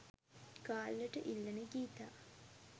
ගාල්ලට ඉල්ලන ගීතා